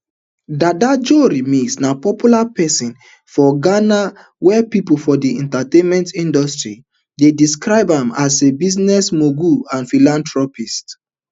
dada joe remix na popular pesin for ghana wia pipo for di entertainment industry dey describe am as business mogul and philanthropist